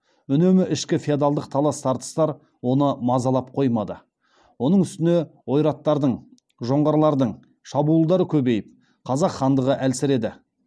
үнемі ішкі феодалдық талас тартыстар оны мазалап қоймады оның үстіне ойраттардың шабуылдары көбейіп қазақ хандығы әлсіреді